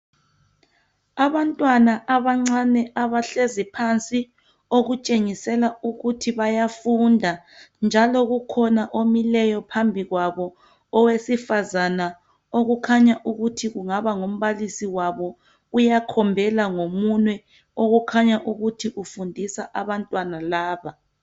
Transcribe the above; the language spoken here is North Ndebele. abantwana abancane abahlezi phansi okutshengisela ukuthi bayafunda njalo kukhona omileyo phambi kwabo owesifazana okukhanya ukuthi angaba ngumbaisi wabo uyakhombela ngomunwe okukhanya ukuthi ufundisa abantwana laba